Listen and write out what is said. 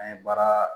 An ye baara